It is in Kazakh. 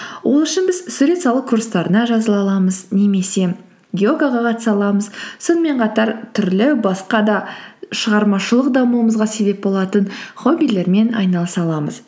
ол үшін біз сурет салу курстарына жазыла аламыз немесе йогаға қатыса аламыз сонымен қатар түрлі басқа да шығармашылық дамуымызға себеп болатын хоббилермен айналыса аламыз